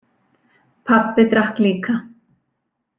Pabbi drakk líka.